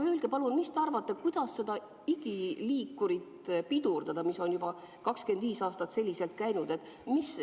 Aga mis te arvate, kuidas seda igiliikurit pidurdada, mis on juba 25 aastat selliselt käinud?